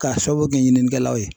K'a sababu kɛ ɲininikɛlaw ye.